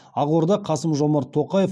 ақорда қасым жомарт тоқаев